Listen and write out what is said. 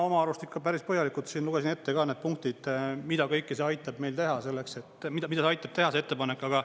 Ma oma arust ikka päris põhjalikult siin lugesin ette ka need punktid, mida kõike see aitab meil teha selleks, et mida ta aitab teha, see ettepanek.